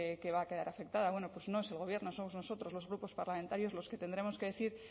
que va a quedar afectada pues no es el gobierno somos nosotros los grupos parlamentarios los que tendremos que decir